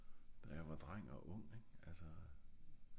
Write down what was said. da jeg var dreng og ung ing? altså